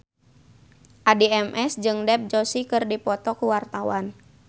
Addie MS jeung Dev Joshi keur dipoto ku wartawan